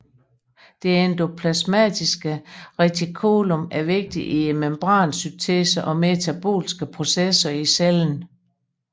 Det endoplasmatiske reticulum er vigtig i membransyntesen og metabolske processer i cellen